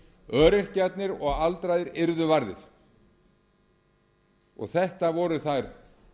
öryrkjarnir og aldraðir yrðu varðir þetta voru þær